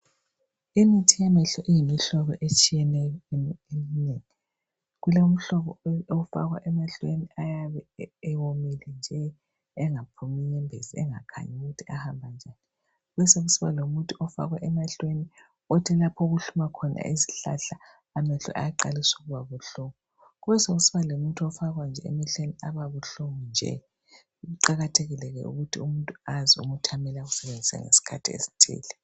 imithi yamehlo iyimihlobo etshiyeneyo eminengi kulomhlobo ofakwa emehlweni ayabe ewomile nje engaphumi inyembezi engakhanyi ukuthi ahamba njani besekusiba lomuthi ofakwa emehlweni othi lapho okuhluma khona izihlahla amehlo ayaqalisa ukubababuhlungu kubesekusiba lomuthi ofakwa nje emehlweni ababuhlungu nje kuqakathekile ke ukuthi umuntu azi umuthi amele awusebenzise ngesikhathi esithile